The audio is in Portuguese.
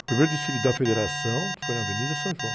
O primeiro desfile da federação foi na Avenida São João.